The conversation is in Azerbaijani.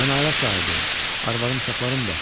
Mən ailə sahibiyəm, arvadım, uşaqlarım var.